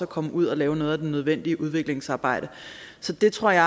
komme ud og lave noget af det nødvendige udviklingsarbejde så det tror jeg